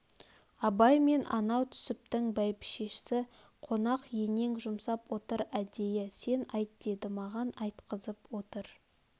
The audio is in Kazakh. абай мен анау түсптің бәйбшесі қонақ енең жұмсап отыр әдейі сен айт деді маған айтқызып отыр